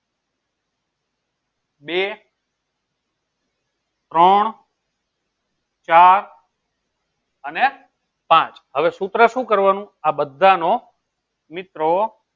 બે ત્રણ ચાર અને પાંચ હવે સુત્ર શું કરવાનું આ બધા નો મિત્રો